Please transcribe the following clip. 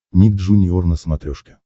ник джуниор на смотрешке